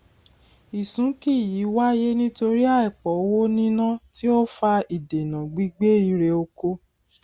ìsúnkì yìí wáyé nítorí àìpọ owó níná tí ó fa ìdènà gbígbé irè oko